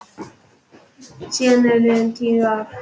Síðan eru liðin tíu ár.